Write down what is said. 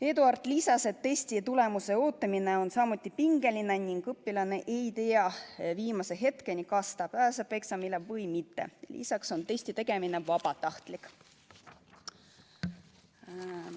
Eduard lisas, et testi tulemuse ootamine on samuti pingeline ning õpilane ei tea viimase hetkeni, kas ta pääseb eksamile või mitte, lisaks on testi tegemine vabatahtlik.